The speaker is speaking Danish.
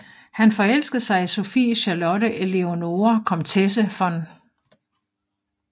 Han forelskede sig i Sophie Charlotte Eleonore Komtesse v